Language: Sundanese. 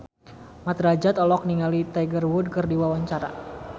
Mat Drajat olohok ningali Tiger Wood keur diwawancara